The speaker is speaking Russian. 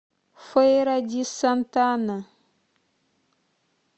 фейра ди сантана